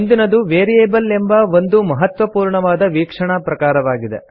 ಮುಂದಿನದು ವೇರಿಯಬಲ್ ಎಂಬ ಒಂದು ಮಹತ್ವಪೂರ್ಣವಾದ ವೀಕ್ಷಣಾ ಪ್ರಕಾರವಾಗಿದೆ